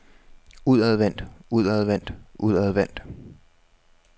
udadvendt udadvendt udadvendt